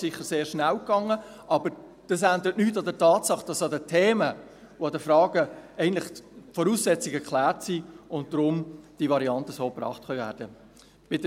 Es ging sicher sehr schnell, aber es ändert nichts an der Tatsache, dass zu diesen Themen und Fragen die Voraussetzungen eigentlich geklärt sind und dass diese Varianten daher so gebracht werden können.